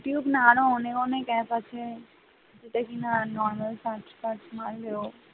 শুধু ইউটিউব না আরো অনেক অনেক app আছে দেখিনা normal search ফার্চ মারলেও